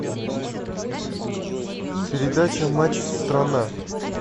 передача матч страна